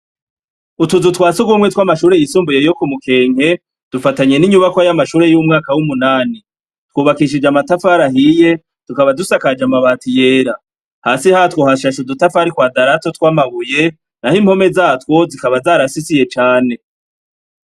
Utuzu twa sugumwe tw'amashure y'isumbuye yo ku Mukenke, dufatanye n'inyubakwa y'amashure y'umwaka w'umunani, twubakishije amatafari ahiye, tukaba dusakaje amabati yera, hasi hatwo hashashe udutafari tw'ikwadarato tw'amabuye, naho impome yatwo ikaba zarasisiye cane.